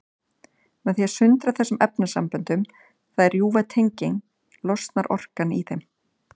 Með því að sundra þessum efnasamböndum, það er rjúfa tengin, losnar orkan í þeim.